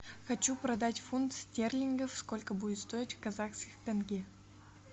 хочу продать фунт стерлингов сколько будет стоить в казахских тенге